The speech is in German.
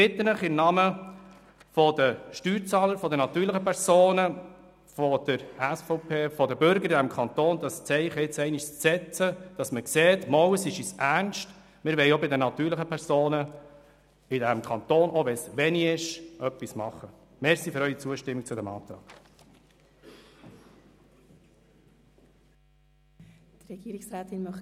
Ich bitte Sie im Namen der Steuerzahler, der natürlichen Personen, der SVP, der Bürger dieses Kantons, dieses Zeichen jetzt einmal zu setzen, damit man sieht, dass es uns ernst ist, auch bei den natürlichen Personen in diesem Kanton etwas zu machen, auch wenn es wenig ist.